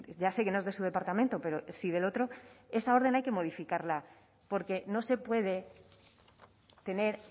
ya sé que no es de su departamento pero sí del otro esa orden hay que modificarla porque no se puede tener